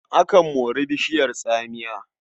Akan mori bishiyar tsamiya.